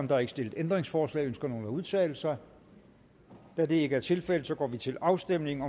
der er ikke stillet ændringsforslag ønsker nogen at udtale sig da det ikke er tilfældet går vi til afstemning